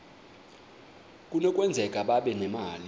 kunokwenzeka babe nemali